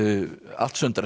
allt sundrast